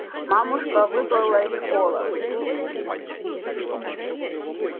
мамушка выплыла из холла